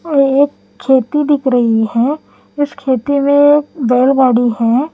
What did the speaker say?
और एक खेती दिख रही है इस खेती में एक है।